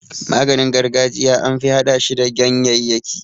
Maganin gargajiya anfi hada shi da gyanyayyaki.